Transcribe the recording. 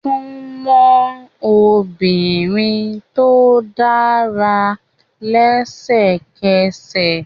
Súnmọ́ obìnrin tó dára lẹ́sẹ̀kẹsẹ̀!